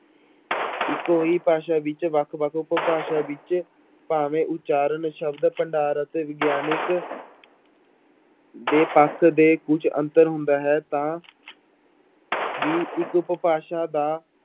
ਇੱਕੋ ਹੀ ਭਾਸ਼ਾ ਵਿੱਚ ਵੱਖ ਵੱਖ ਉਪਭਾਸ਼ਾ ਵਿੱਚ ਭਾਵੇਂ ਉਚਾਰਨ ਸ਼ਬਦ ਭੰਡਾਰ ਅਤੇ ਵਿਗਿਆਨਕ ਦੇ ਪੱਖ ਦੇ ਕੁੱਝ ਅੰਤਰ ਹੁੰਦਾ ਹੈ ਤਾਂ ਵੀ ਇੱਕ ਉਪਭਾਸ਼ਾ ਦਾ